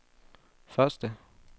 første